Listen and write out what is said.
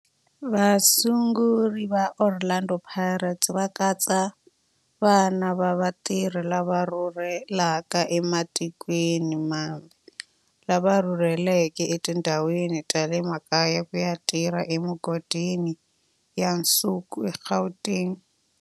Vasunguri va Orlando Pirates va katsa vana va vatirhi lava rhurhelaka ematikweni mambe lava rhurheleke etindhawini ta le makaya ku ya tirha emigodini ya nsuku eGauteng.